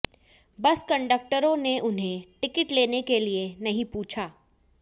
बस कंडक्टरों ने उन्हें टिकट लेने के लिए नहीं पूछा